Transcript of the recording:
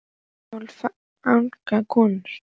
Fjöll og skáld og fagrar konur.